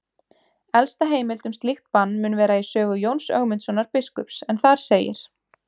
Elsta heimild um slíkt bann mun vera í sögu Jóns Ögmundssonar biskups en þar segir: